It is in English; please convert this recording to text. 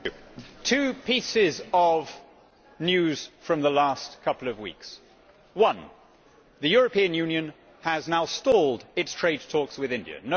Mr President, two pieces of news from the last couple of weeks. One the European Union has now stalled its trade talks with India.